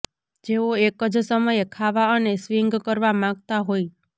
જેઓ એક જ સમયે ખાવા અને સ્વિંગ કરવા માંગતા હોય